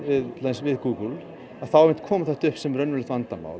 við Google þá kom þetta upp sem raunverulegt vandamál